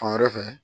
Fan wɛrɛ fɛ